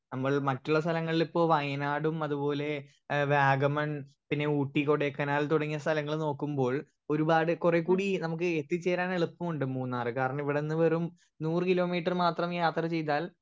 speaker 1 നമ്മൾ മറ്റുള്ള സ്ഥലങ്ങളിപ്പോ വയനാടും അതുപോലെ ഏഹ് വാഗമൺ പിന്നെ ഊട്ടി കൊടൈക്കനാൽ തുടങ്ങിയ സ്ഥലങ്ങൾ നോക്കുമ്പോൾ ഒരുപാട് കൊറേകൂടി നമ്മക്ക് എത്തിച്ചേരാൻ എളുപ്പുണ്ട് മൂന്നാർ കാരണം ഇവിടെന്ന് വെറും നൂർ കിലോമീറ്റർ മാത്രം യാത്ര ചെയ്താൽ